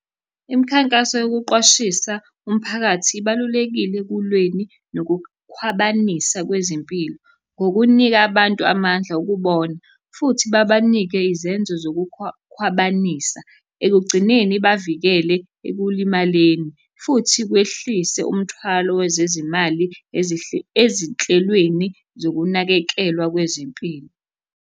Imikhankaso yokuqwashisa umphakathi ibalulekile ekulweni nokukhwabanisa kwezempilo, ngokunika abantu amandla okubona, futhi babanike izenzo zokukhwabanisa. Ekugcineni ibavikele ekulimaleni, futhi kwehlise umthwalo wezezimali ezinhlelweni zokunakekelwa kwezempilo.